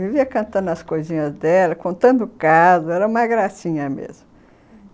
Vivia cantando as coisinhas dela, contando casos, era uma gracinha mesmo, hum...